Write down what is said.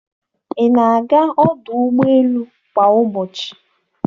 Ị na-aga ọdụ ụgbọ elu kwa ụbọchị?